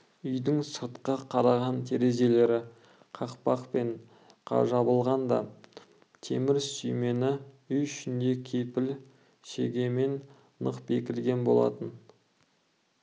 үйдің сыртқа қараған терезелері қақпақпен жабылған да темір сүймені үй ішінде кепіл шегемен нық бекілген болатын